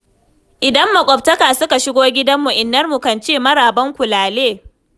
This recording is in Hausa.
Idan makwabtaka suka shigo gidanmu Innarmu kan ce 'marabanku lale lale'